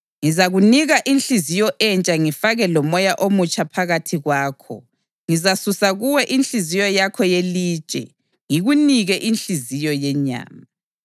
Ngizakunika inhliziyo entsha ngifake lomoya omutsha phakathi kwakho; ngizasusa kuwe inhliziyo yakho yelitshe ngikunike inhliziyo yenyama.